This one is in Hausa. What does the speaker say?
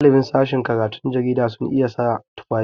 Ɗaliban sashin karatun jarida sun iya sa tufafi.